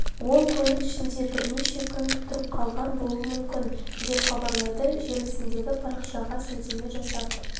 ол көлік ішінде бірнеше күн тұрып қалған болуы мүмкін деп хабарлайды желісіндегі парақшаға сілтеме жасап